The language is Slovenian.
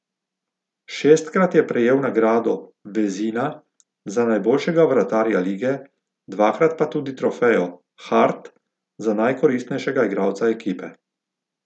Šestkrat je prejel nagrado Vezina za najboljšega vratarja lige, dvakrat pa tudi trofejo Hart za najkoristnejšega igralca ekipe.